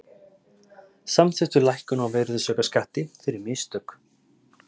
Samþykktu lækkun á virðisaukaskatti fyrir mistök